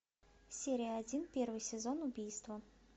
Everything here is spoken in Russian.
серия один первый сезон убийство